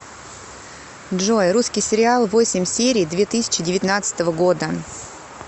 джой русский сериал восемь серий две тысячи девятнадцатого года